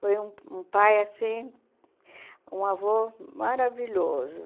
Foi um um pai assim, um avô maravilhoso.